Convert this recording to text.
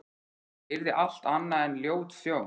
Það yrði allt annað en ljót sjón.